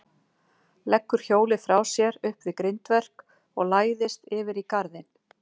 Leggur hjólið frá sér upp við grindverk og læðist yfir í garðinn.